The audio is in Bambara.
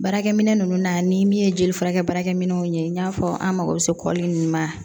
Baarakɛminɛn ninnu na ni min ye jeli furakɛ baarakɛ minɛnw ye i n'a fɔ an mako bɛ se kɔli in ma